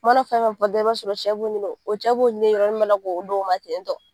U mana fɛn fɛn fɔ dɔrɔn i b'a sɔrɔ o cɛ b'o ko do ma tentɔ.